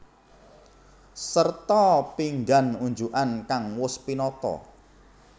Sarta pinggan unjukan kang wus tinata